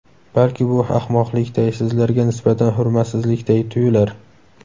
Balki bu ahmoqlikday, sizlarga nisbatan hurmatsizlikday tuyular.